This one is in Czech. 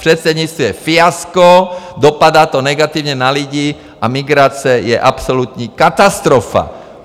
Předsednictví je fiasko, dopadá to negativně na lidi a migrace je absolutní katastrofa.